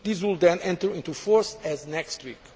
These will then enter into force as of next week.